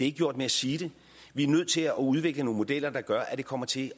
ikke gjort med at sige det vi er nødt til at udvikle nogle modeller der gør at det kommer til